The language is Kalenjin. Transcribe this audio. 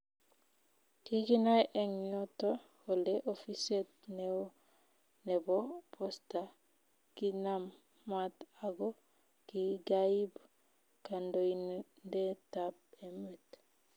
Kiginay eng yoto kole ofisit neo nebo Posta kinam maat ako kigaib kandoindetab emet---